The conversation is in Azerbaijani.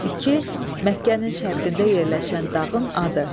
İki, Məkkənin şərqində yerləşən dağın adı.